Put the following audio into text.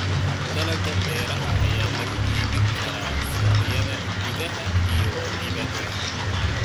Dalagga beeraha ayaa lagu iibin karaa suuqyada gudaha iyo dibadda.